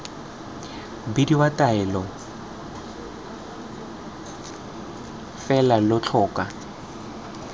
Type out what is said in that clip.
bidiwa taolelo fela lo tlhoka